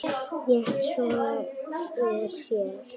Rétti svo úr sér.